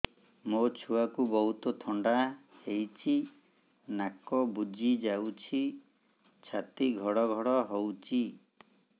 ମୋ ଛୁଆକୁ ବହୁତ ଥଣ୍ଡା ହେଇଚି ନାକ ବୁଜି ଯାଉଛି ଛାତି ଘଡ ଘଡ ହଉଚି